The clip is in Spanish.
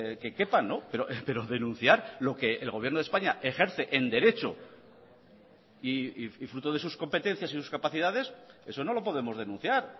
que quepan pero denunciar lo que el gobierno de españa ejerce en derecho y fruto de sus competencias y sus capacidades eso no lo podemos denunciar